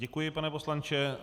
Děkuji pane poslanče.